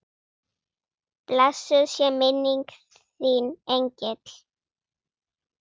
Blessuð sé minning þín engill.